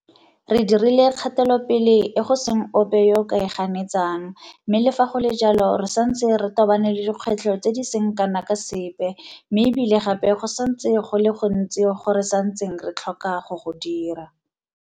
Re dirile kgatelopele e go seng ope yo a ka e ganetsang, mme le fa go le jalo re santse re tobane le dikgwetlho tse di seng kana ka sepe mme e bile gape go santse go le go gontsi go re santseng re tlhoka go go dira.